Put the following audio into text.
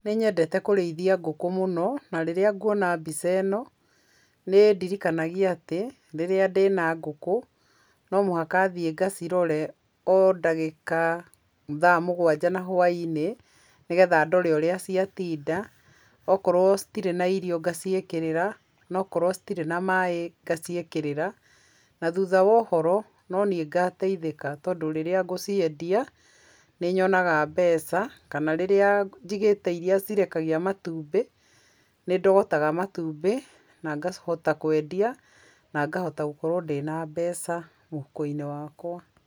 Nĩnyende kũrĩithia ngũkũ mũno na rĩrĩa ngwona mbica ĩno nĩĩndirikanagia atĩ rĩrĩa ndĩna ngũkũ nomũhaka ngathiĩ ngacirore o dagĩka thaa mũgwanja na huainĩ ngetha thiĩ ndore ũrĩa ciatinda. Okorwo citirĩ na irio ngaciĩkĩrĩra, na okorwo citirĩ na maĩ ngaciĩkĩrĩra. Nathutha wa ũhoro, noniĩ ngateithĩka tandũ rĩrĩa ngũciendia nĩnyonaga mbeca, kana rĩrĩa njigĩte iria cirekagia matumbĩ, nĩndogotaga matumbi na ngahota kwendia nangahota gũkorwo ndĩna mbeca mũhuko-inĩ wakwa.